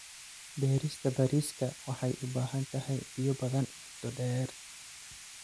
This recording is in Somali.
Beerista bariiska waxay u baahan tahay biyo badan muddo dheer.